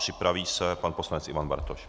Připraví se pan poslanec Ivan Bartoš.